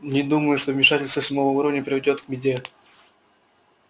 не думаю что вмешательство седьмого уровня приведёт к беде